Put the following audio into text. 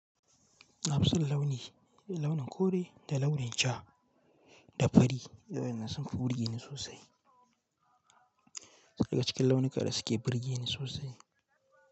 Nafison launi, launin kore da launin ja da fari wayannan sun fi burge ni sosai daga cikin launuka da suke burge ni sosai.